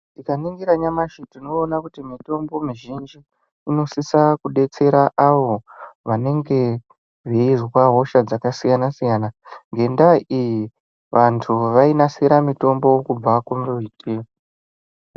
Tikaningira nyamashi tinoona kuti mitombo mizhinji inosisa kudetsera avo vanenge veizwa hosha dzakasiyana siyana. Ngendaa iyi vanhu vainasira mutombo kubva kumbiti.